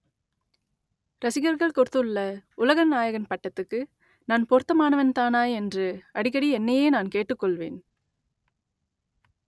ரசிகர்கள் கொடுத்துள்ள உலக நாயகன் பட்டத்துக்கு நான் பொருத்தமானவன்தானா என்று அடிக்கடி என்னையே நான் கேட்டுக் கொள்வேன்